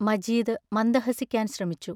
മജീദ് മന്ദഹസിക്കാൻ ശ്രമിച്ചു.